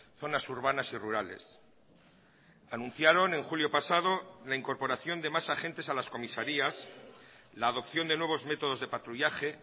zonas urbanas y rurales anunciaron en julio pasado la incorporación de más agentes a las comisarías la adopción de nuevos métodos de patrullaje